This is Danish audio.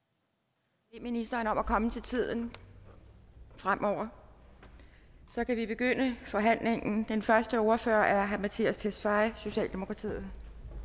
jeg ministeren om at komme til tiden fremover så kan vi begynde forhandlingen den første ordfører er herre mattias tesfaye socialdemokratiet